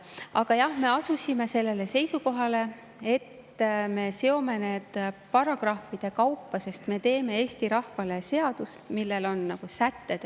Aga jah, me asusime sellele seisukohale, et me seome need paragrahvide kaupa, sest me teeme Eesti rahvale seadust, milles on sätted.